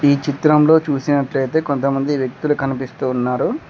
ఈ చిత్రంలో చూసినట్లయితే కొంతమంది వ్యక్తులు కనిపిస్తూ ఉన్నారు.